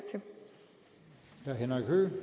jo henhører